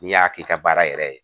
N'i y'a k'i ka baara yɛrɛ ye